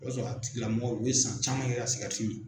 I ba sɔrɔ a tigikilamɔgɔw o ye san caman kɛ ka sigarɛti min.